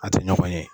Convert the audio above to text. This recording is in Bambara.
A tɛ ɲɔgɔn ye